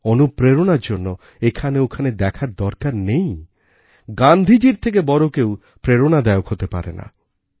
অনুপ্রেরণার জন্য এখানে ওখানে দেখার দরকার নেই গান্ধীজীর থেকে বড় কেউ প্রেরণাদায়ক হতে পারে না